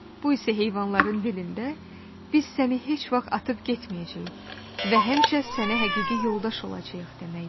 Bu isə heyvanların dilində "Biz səni heç vaxt atıb getməyəcəyik və həmişə sənə həqiqi yoldaş olacağıq" deməkdir.